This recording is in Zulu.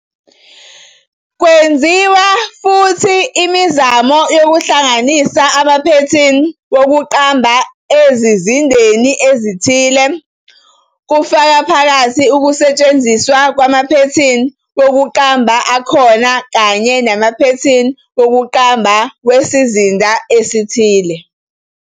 Kwenziwe futhi imizamo yokuhlanganisa amaphethini wokuqamba ezizindeni ezithile, kufaka phakathi ukusetshenziswa kwamaphethini wokuqamba akhona kanye namaphethini wokuqamba wesizinda esithile.